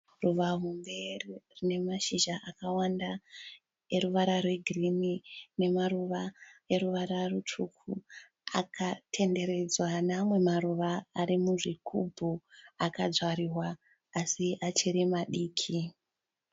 Ruva hombe rine mashizha akawanda eruvara rwegirinhi nemaruva eruvara rutsvuku akatenderedzwa neamamwe maruva ari muzvigubhu akadzvariwa asi achiri madiki.